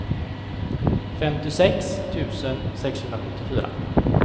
femtiosex tusen sexhundrasjuttiofyra